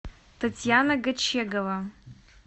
татьяна гочегова